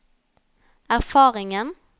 erfaringen